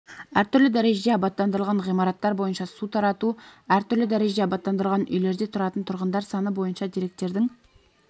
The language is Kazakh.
әртүрлі дәрежеде абаттандырылған ғимараттар бойынша су тарату әр түрлі дәрежеде абаттандырылған үйлерде тұратын тұрғындар саны бойынша деректердің